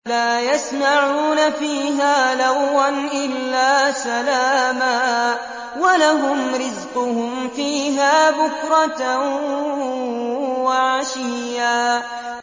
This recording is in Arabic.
لَّا يَسْمَعُونَ فِيهَا لَغْوًا إِلَّا سَلَامًا ۖ وَلَهُمْ رِزْقُهُمْ فِيهَا بُكْرَةً وَعَشِيًّا